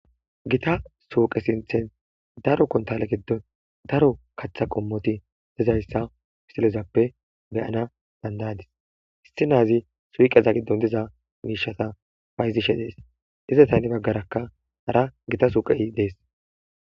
Gotta pooqe sinthan daro kontale gidon daro kaatha qommoti dizaysa misileppe beyana danda'adis bitanezi suyqeza gaathan diza miishata bayzishe beetes. Izeta hani bagaraka Gita suyqey de'es.